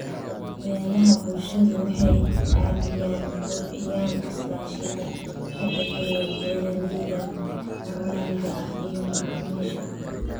Beeraha bulshadu waxay caadiyan kobciyaan iskaashiga ka dhexeeya beeralayda maxalliga ah iyo macaamiisha